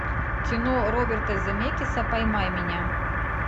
кино роберта земекиса поймай меня